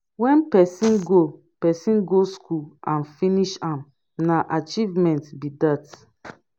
when persin go persin go school and finish am na achievement be that